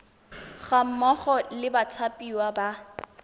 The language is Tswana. ga mmogo le bathapiwa ba